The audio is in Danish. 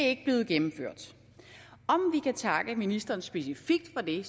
ikke blevet gennemført om vi kan takke ministeren specifikt for det